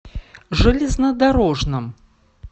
железнодорожном